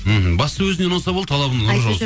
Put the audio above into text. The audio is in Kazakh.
мхм бастысы өзіне ұнаса болды талабына нұр